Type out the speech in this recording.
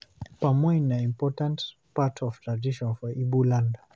Palm wine na important part of tradition for Ibo land.